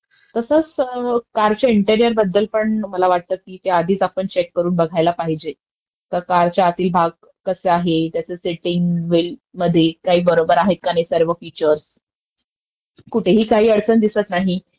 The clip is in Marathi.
ह्याची पहिले आपण खात्री करून घ्यायला पाहिजे. कराण डिलिव्हरी घेतल्यानंतर तुम्हाला काही अडचण आल्यास कुठलही एजन्सी आपल्याला किंवा कुठलापण डीलर तो त्याची चुक मान्य नाही करणार. त्यामुळे मला वाटत का आपण गाडी खरेदी करताना